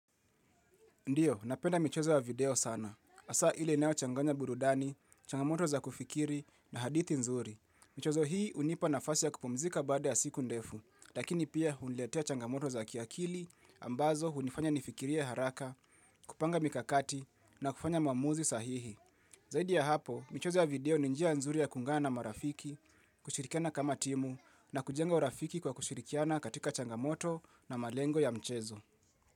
Ndiyo, napenda michezo ya video sana. Hasa ili inayo changanya burudani, changamoto za kufikiri na hadithi nzuri. Michezo hii hunipa nafwsi ya kupumzika baada ya siku ndefu, lakini pia uniletea changamoto za kiakili, ambazo hunifanya nifikiria haraka, kupanga mikakati na kufanya maamuzi sahihi. Zaidi ya hapo, michezo ya video ni njia nzuri ya kungana marafiki, kushirikiana kama timu na kujenga urafiki kwa kushirikiana katika changamoto na malengo ya mchezo.